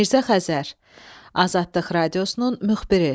Mirzə Xəzər – Azadlıq Radiosunun müxbiri.